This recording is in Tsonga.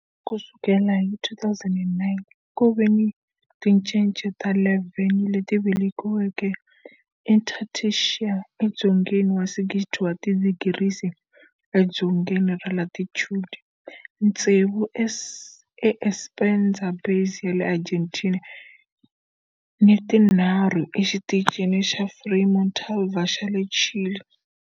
Ku sukela hi 2009, ku ve ni tincece ta 11 leti velekiweke eAntarctica, edzongeni wa 60 wa tidigri edzongeni wa latitude, tsevu eEsperanza Base ya le Argentina ni tinharhu exitichini xa Frei Montalva xa le Chile.